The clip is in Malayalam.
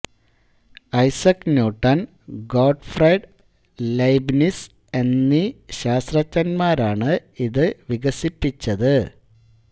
ഐസക് ന്യൂടൻ ഗോട്ട്ഫ്രൈഡ് ലെയ്ബ്നിസ് എന്നീ ശാസ്ത്രഞ്ജൻമാരാണ് ഇത് വികസിപ്പിച്ചത്